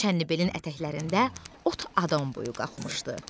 Çənnibelin ətəklərində ot adam boyu qalxmışdı.